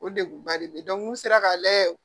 O deguba de be yen n'u sera k'a lajɛ